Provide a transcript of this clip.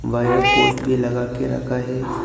Wire poles भी लगा के रखा है।